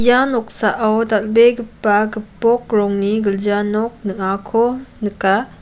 ia noksao dal·begipa gipok rongni gilja nok ning·ako nika.